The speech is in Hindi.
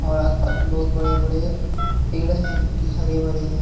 और आस पास में बहुत बड़े बड़े पेड़ हैं जो कि हरे भरे हैं।